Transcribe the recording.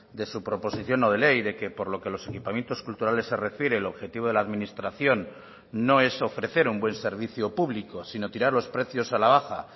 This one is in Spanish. de su proposición no de ley de que por lo que los equipamientos culturales se refiere el objetivo de la administración no es ofrecer un buen servicio público sino tirar los precios a la baja